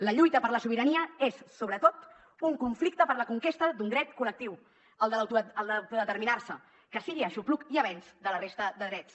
la lluita per la sobirania és sobretot un conflicte per la conquesta d’un dret col·lectiu el d’autodeterminarse que sigui aixopluc i avenç de la resta de drets